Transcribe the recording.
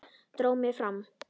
Dró mig fram.